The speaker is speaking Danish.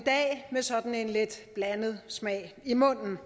i dag med sådan en lidt blandet smag i munden